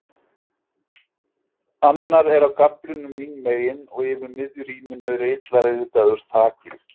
Annar er á gaflinum mín megin og yfir miðju rýminu er illa ryðgaður þakgluggi.